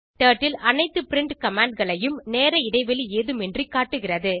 turtle அனைத்து print commandகளையும் நேர இடைவெளி ஏதுமின்றி காட்டுகிறது